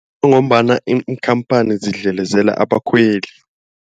Ngombana iinkhamphani zidlelezela abakhweli.